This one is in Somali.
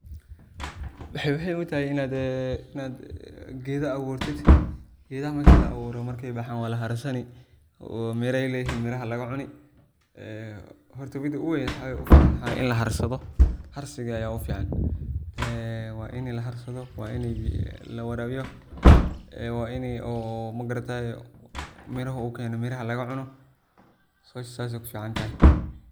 Maxey muhim u tahay inaad gedaha aburtid. Gedaha markey bahan waa la harsani oo miraha laga cuni een horta mida ugu weyn mxa waye ini laharsadho, oo harsiga aya ugu fican ee waini laharsado ,waini lawarabiyo ,waini oo magarataye miraha u keno oo miraha laga cuno howsha sas ayey ku fican tahay .